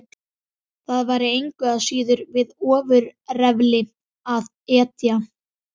Það væri engu að síður við ofurefli að etja.